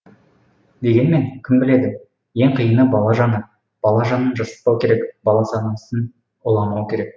дегенмен кім біледі ең қиыны бала жаны бала жанын жасытпау керек бала санасын уламау керек